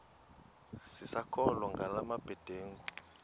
sisakholwa ngala mabedengu